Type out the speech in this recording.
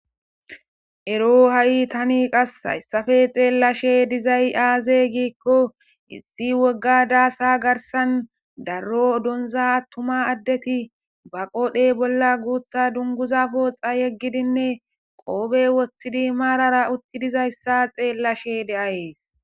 Ero ha7i tani qas hayssape xeellashe dizay aaze giikko issi wogga daasa garsan darro odonza attuma addeti ba qodhe bolla guutha dunguza pooxa yeggidinne qoobe woththidi maarara utti dizayssa xeellashe de7ayes.